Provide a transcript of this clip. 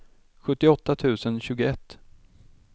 sjuttioåtta tusen tjugoett